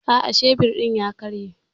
Aa, shebir din ya karye.